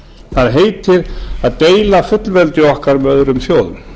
það heitir að deila fullveldi okkar með öðrum þjóðum